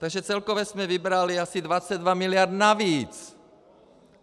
Takže celkově jsme vybrali asi 22 mld. navíc!